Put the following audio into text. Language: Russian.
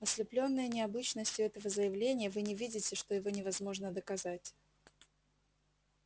ослеплённые необычностью этого заявления вы не видите что его невозможно доказать